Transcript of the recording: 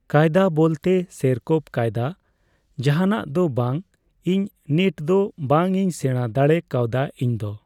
ᱠᱟᱭᱫᱟ ᱵᱚᱞᱛᱮ ᱥᱮᱭᱨᱯᱠᱯᱢ ᱠᱟᱭᱫᱟ ᱡᱟᱦᱟᱸᱱᱟ ᱫᱚ ᱵᱟᱝ ᱤᱧ ᱱᱤᱴᱫᱚ ᱵᱟᱝ ᱤᱧ ᱥᱮᱲᱟ ᱫᱟᱲᱮ ᱠᱟᱣᱫᱟ ᱤᱧ ᱫᱚ ᱾